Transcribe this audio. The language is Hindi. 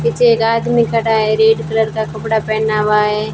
पीछे एक आदमी खड़ा है रेड कलर का कपड़ा पहना हुआ है।